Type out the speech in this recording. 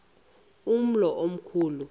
umlo omkhu lu